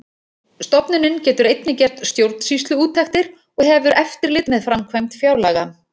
Stofnunin getur einnig gert stjórnsýsluúttektir og hefur eftirlit með framkvæmd fjárlaga.